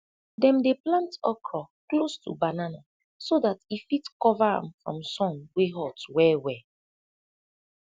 dem dey plant okra close to banana so dat e fit cova am from sun wey hot welwel